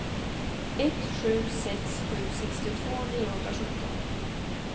ett sju sex sju sextiotvå niohundrasjutton